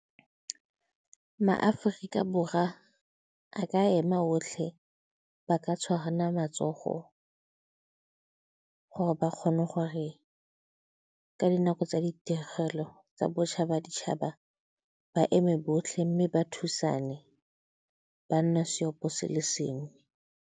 MaAforika borwa a ka ema otlhe, ba ka tshwarana matsogo gore ba kgone gore ka dinako tsa ditiragalo tsa botšha ba ditšhaba, ba eme botlhe mme ba thusane, ba nne seopo se le sengwe.